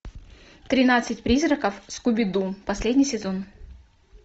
тринадцать призраков скуби ду последний сезон